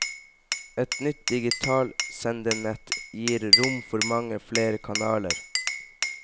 Et nytt digitalt sendenett gir rom for mange flere kanaler.